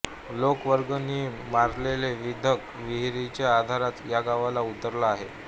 लोकवर्गणीतून मारलेल्या विंधण विहिरीचा आधारच या गावाला उरला आहे